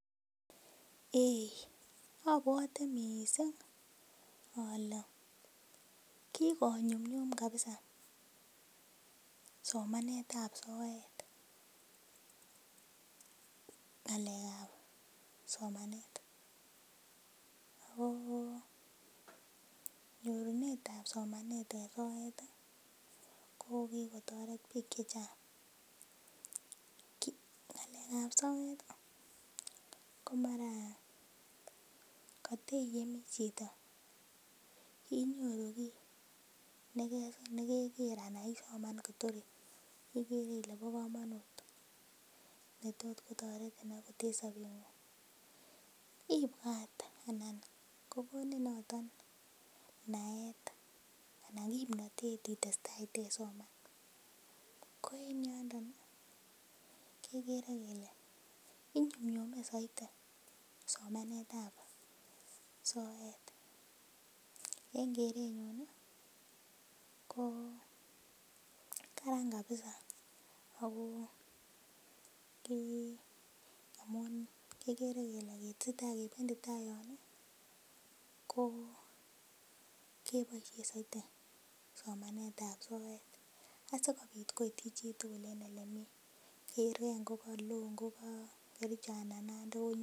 Eii obwote mising olee kikonyumnyum kabisa somanetab soet ngalekab somanet ak ko nyorunetab somanet en soet ko kikotoret biik chechang, ngalekab soet komara koteyemi chito inyoru kii nekeker anan isoman kotor ikere ilee bokomonut netot kotoretin akot en sobengung, ibwat anan ko konin noton naet anan kimnotet itesta iteisoman, ko en yondon kekere kelee inyumnyume soiti somanetab soet, en kerenyun ko karan kabisa ak ko kii amun kikere kelee keteseta kebendi taai yoon ko keboishen soiti somanetab soet asikobit koityi chitukul en elemii, kerkee ngo koloo ngoka Kericho anan Nandi konyoru.